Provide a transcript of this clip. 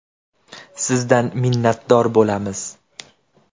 Sizdan minnatdor bo‘lamiz!